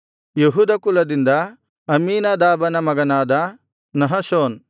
ಯೆಹೂದ ಕುಲದಿಂದ ಅಮ್ಮೀನಾದಾಬನ ಮಗನಾದ ನಹಶೋನ್